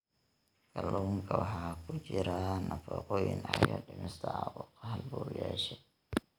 Kalluunka waxaa ku jira nafaqooyin caawiya dhimista caabuqa halbowlayaasha.